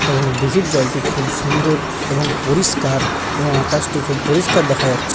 এবং দীঘির জলটি খুব সুন্দর এবং পরিষ্কার এবং আকাশটি খুব পরিষ্কার দেখা যাচ--